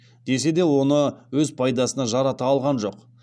десе де оны өз пайдасына жарата алған жоқ